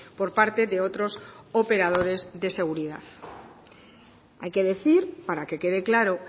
por parte de otros operadores de seguridad hay que decir para que quede claro